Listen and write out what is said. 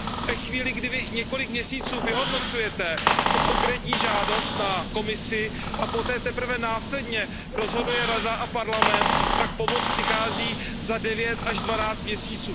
Ve chvíli, kdy vy několik měsíců vyhodnocujete konkrétní žádost na Komisi a poté teprve následně rozhoduje Rada a Parlament, tak pomoc přichází za 9 až 12 měsíců.